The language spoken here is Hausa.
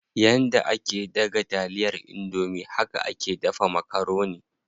Yanda ake daga taliyar indomie haka ake dafa makaroni.